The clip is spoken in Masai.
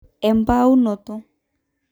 embaunoto